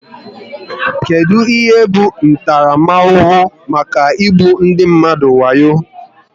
Kedụ ihe bụ ntaramahụhụ maka igbu ndị mmadụ wayo?